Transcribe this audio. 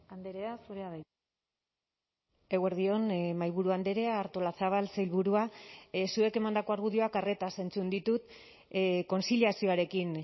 andrea zurea da hitza eguerdi on mahaiburu andrea artolazabal sailburua zuek emandako argudioak arretaz entzun ditut kontziliazioarekin